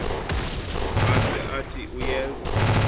maze athi uyeza